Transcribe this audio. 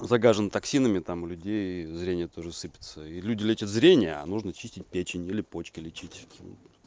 загажен токсинами там у людей зрение тоже сыпется и люди лечат зрение а нужно чистить печень или почки лечить